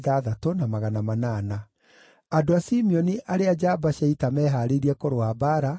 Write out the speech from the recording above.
andũ a Simeoni arĩa njamba cia ita meehaarĩirie kũrũa mbaara, maarĩ 7,100;